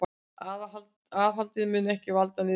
Aðhaldið mun ekki valda niðursveiflu